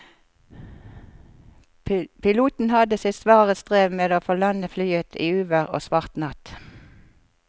Piloten hadde sitt svare strev med å få landet flyet i uvær og svart natt.